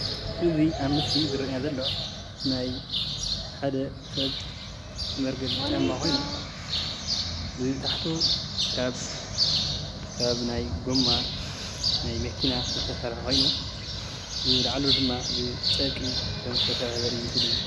እዙይ ኣብ ምስሊ ዝርአየና ዘሎ ናይ ሓደ ሰብ መርገፂ ጫማ ኾይኑ ታሕቱ ካብ ናይ ጎማ ናይ መኪና ዝተሰርሐ ኮይኑ ፣ብላዕሊ ድማ ጨርቂ ዝተሰርሐ ዘሪኢ ምስሊ እዩ።